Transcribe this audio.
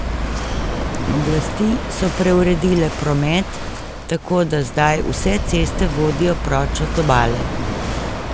Oblasti so preuredile promet, tako, da zdaj vse ceste vodijo proč od obale.